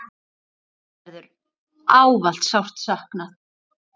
Þín verður ávallt sárt saknað.